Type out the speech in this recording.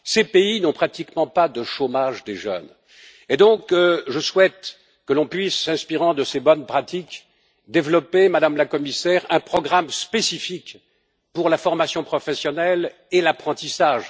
Ces pays n'ont pratiquement pas de chômage des jeunes, et donc je souhaite que l'on puisse, s'inspirant de ces bonnes pratiques, développer, Madame la Commissaire, un programme spécifique pour la formation professionnelle et l'apprentissage.